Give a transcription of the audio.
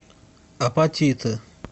апатиты